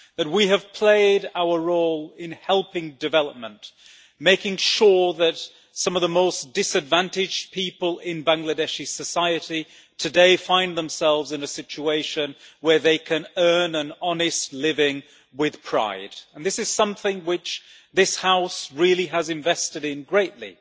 We have played our role in helping development, making sure that some of the most disadvantaged people in Bangladeshi society today find themselves in a situation where they can earn an honest living with pride, and this is something which this House really has invested in greatly.